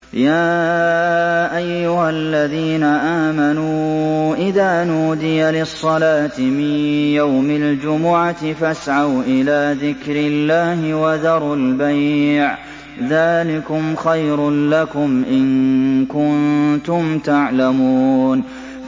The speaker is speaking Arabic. يَا أَيُّهَا الَّذِينَ آمَنُوا إِذَا نُودِيَ لِلصَّلَاةِ مِن يَوْمِ الْجُمُعَةِ فَاسْعَوْا إِلَىٰ ذِكْرِ اللَّهِ وَذَرُوا الْبَيْعَ ۚ ذَٰلِكُمْ خَيْرٌ لَّكُمْ إِن كُنتُمْ تَعْلَمُونَ